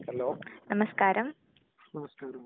Hello നമസ്ക്കാരം.